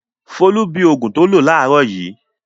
Folú bi òògùn tó lò láàárọ̀ yìí.